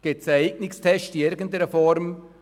Gibt es einen Eignungstest?